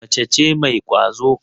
Mace ce mai kwazo.